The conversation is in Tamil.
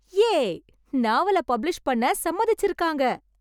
யே! நாவலைப் பப்ளிஷ் பண்ண சம்மதிச்சிருக்காங்க!